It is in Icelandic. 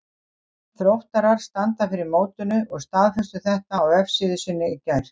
Þróttarar standa fyrir mótinu og staðfestu þetta á vefsíðu sinni í gær.